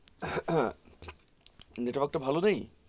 network টা ভালো নেই,